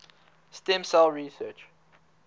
stem cell research